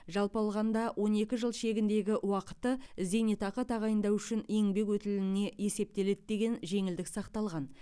жалпы алғанда он екі жыл шегіндегі уақыты зейнетақы тағайындау үшін еңбек өтіліне есептеледі деген жеңілдік сақталған